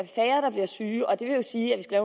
syge og det vil jo sige at vi skal